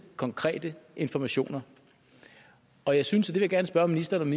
konkrete informationer jeg synes jeg gerne spørge ministeren om